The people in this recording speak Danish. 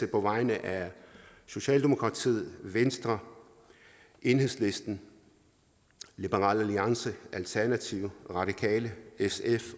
på vegne af socialdemokratiet venstre enhedslisten liberal alliance alternativet radikale sf